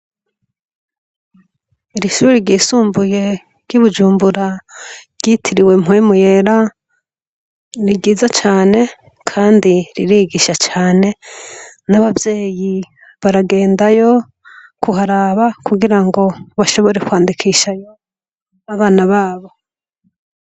Iri shure ryisumbuye ry'i Bujumbura ryitiriwe Mpwemu yera, ni ryiza cane kandi ririgisha cane, n'abavyeyi baragendayo kuharaba kugira ngo bashobore kwandikishayo abana babo.